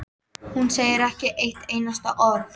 Hún segir ekki eitt einasta orð.